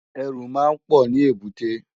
Èrù má n pò ni ébùté